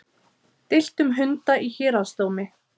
Deilt um hunda í héraðsdómi